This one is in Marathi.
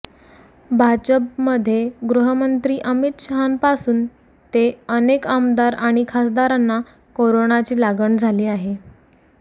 भाजपमध्ये गृहमंत्री अमित शहांपासून ते अनेक आमदार आणि खासदारांना कोरोनाची लागण झाली आहे